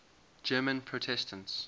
german protestants